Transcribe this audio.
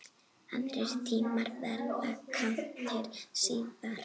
Aðrir tímar verða kynntir síðar.